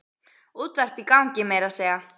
Útvarp í gangi meira að segja.